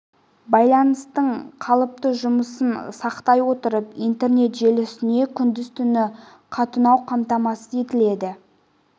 байланыстың қалыпты жұмысын сақтай отырып интернет желісіне күндіз-түні қатынау қамтамасыз етіледі